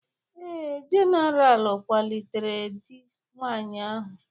Ee, General kwalitere di nwanyị ahụ